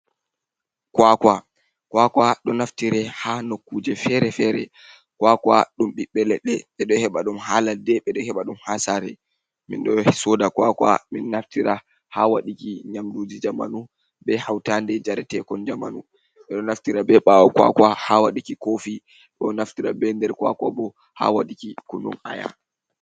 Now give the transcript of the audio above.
Kwaakwa, Kwaakwa ɗo naftiree haa nokkuuje fere-fere. Kwaakwa ɗum ɓiɓbe leɗɗe ɓe ɗo heɓa ɗum haa ladde, ɓe ɗo heɓa ɗum haa saare. Min ɗo sooda Kwaakwa min naftira haa waɗuki nyamduuji jamanu bee hawtaande njareteekon jamanu. Ɓe ɗo naftira bee ɓaawo Kwaakwa haa waɗuki koofi, ɗo naftira bee nder Kwaakwa bo haa waɗuki kunun Aya.